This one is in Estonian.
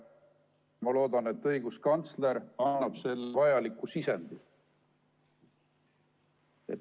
Ma loodan, et õiguskantsler annab selleks vajaliku sisendi.